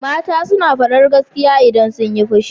Mata suna faɗar gaskiya idan sunyi fushi.